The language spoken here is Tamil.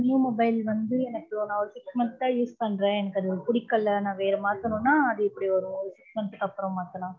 new mobile வந்து, எனக்கு, நான் ஒரு six months ஆ, use பண்றேன். எனக்கு, அது பிடிக்கலை. நான் வேற மாத்தணும்ன்னா, அது இப்படி வரும். six months க்கு அப்புறம் மாத்தலாம்